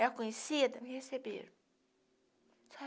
Era conhecida, me receberam.